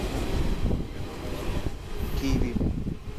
киви